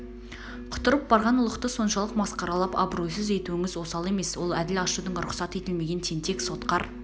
құтырып барған ұлықты соншалық масқаралап абыройсыз етуіңіз осал емес ол әділ ашудың рұхсат етілмеген тентек сотқар